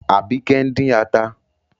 Àbíkẹ́ ń dín ata.